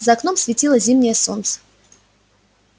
за окном светило зимнее солнце